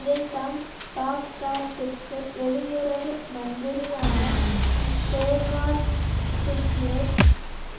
இதைத்தான் பாக்தாத்திற்கு வெளியுறவு மந்திரியான பேர்னார்ட் குஷ்நெர்